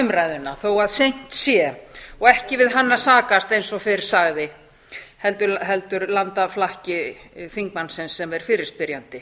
umræðuna þó seint sé og ekki við hann að sakast eins og fyrr sagði heldur landaflakk þingmannsins sem er fyrirspyrjandi